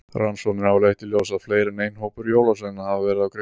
Rannsóknir hafa leitt í ljós að fleiri en einn hópur jólasveina hafa verið á kreiki.